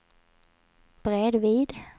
bredvid